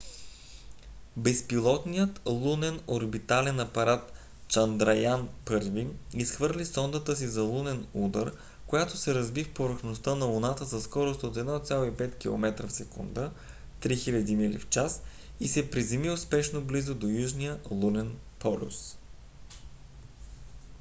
безпилотният лунен орбитален апарат чандраян-1 изхвърли сондата си за лунен удар mip която се разби в повърхността на луната със скорост от 1,5 километра в секунда 3000 мили в час и се приземи успешно близо до южния лунен полюс